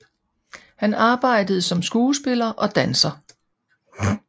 Han arbejdede som skuespiller og danser